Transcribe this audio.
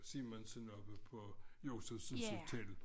Simonsens og Josefsens hotel